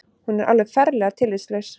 Hún er alveg ferlega tillitslaus